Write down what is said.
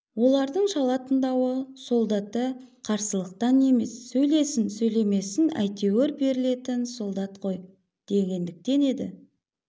олардың шала тыңдауы солдата қарсылықтан емес сөйлесін сөйлемесін әйтеуір берілетін солдат қой дегендіктен еді